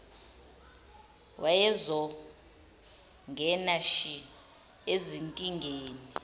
wayezongena shi ezinkingeni